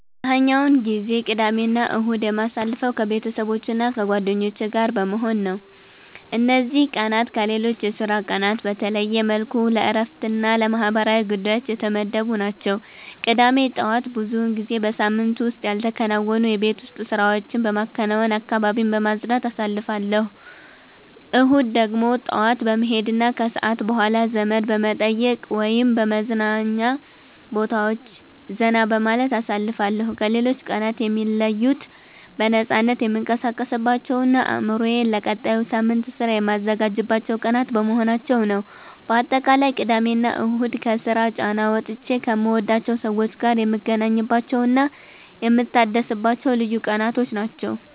አብዛኛውን ጊዜ ቅዳሜና እሁድን የማሳልፈው ከቤተሰቦቼና ከጓደኞቼ ጋር በመሆን ነው። እነዚህ ቀናት ከሌሎች የሥራ ቀናት በተለየ መልኩ ለእረፍትና ለማህበራዊ ጉዳዮች የተመደቡ ናቸው። ቅዳሜ ጠዋት ብዙውን ጊዜ በሳምንቱ ውስጥ ያልተከናወኑ የቤት ውስጥ ስራዎችን በማከናወንና አካባቢን በማጽዳት አሳልፋለሁ። እሁድ ደግሞ ጠዋት ወደ ቤተክርስቲያን በመሄድና ከሰዓት በኋላ ዘመድ በመጠየቅ ወይም በመዝናኛ ቦታዎች ዘና በማለት አሳልፋለሁ። ከሌሎች ቀናት የሚለዩት በነፃነት የምንቀሳቀስባቸውና አእምሮዬን ለቀጣዩ ሳምንት ሥራ የማዘጋጅባቸው ቀናት በመሆናቸው ነው። ባጠቃላይ ቅዳሜና እሁድ ከስራ ጫና ወጥቼ ከምወዳቸው ሰዎች ጋር የምገናኝባቸውና የምታደስባቸው ልዩ ቀናት ናቸው።